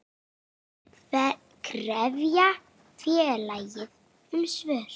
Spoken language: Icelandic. Þær krefja félagið um svör.